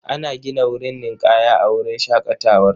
Ana gina wurin ninƙaya a wurin shaƙatawar.